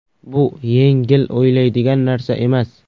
Bu yengil o‘ylaydigan narsa emas.